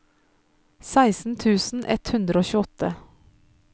seksten tusen ett hundre og tjueåtte